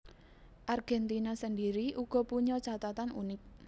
Argentina sendiri uga punya catatan unik